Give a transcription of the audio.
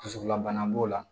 Dusukun labana b'o la